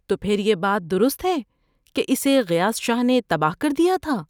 ‏تو پھر یہ بات درست ہے کہ اسے غیاث شاہ نے تباہ کردیا تھا؟‏